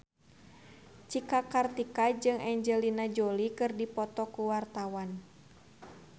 Cika Kartika jeung Angelina Jolie keur dipoto ku wartawan